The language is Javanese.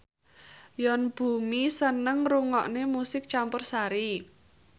Yoon Bomi seneng ngrungokne musik campursari